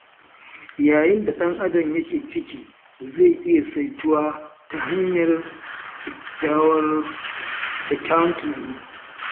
Yanayin da ɗan'adam yake ciki zai iya saituwa ta hanyar kyakkyawan tunani.